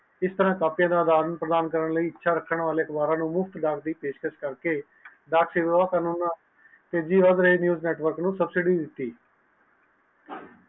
ਇਸ ਤਰਾਹ ਕਾਪੀਆਂ ਆ ਯਾਦਾਂ ਪ੍ਰਦਾਨ ਕਰਨ ਲਯੀ ਇਸ ਚੀਜ਼ ਨੈੱਟਵਰਕ ਨੂੰ ਸੁਬਸਟੀ ਦਿਤੀ